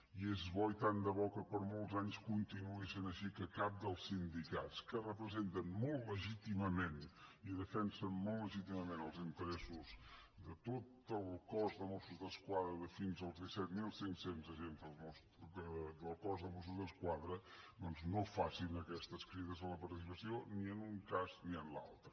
i és bo i que tant de bo que per molts anys continuï sent així que cap dels sindicats que representen molt legítimament i defensen molt legítimament els interessos de tot el cos de mossos d’esquadra de fins als disset mil cinc cents agents del cos de mossos d’esquadra doncs no faci aquestes crides a la participació ni en un cas ni en l’altre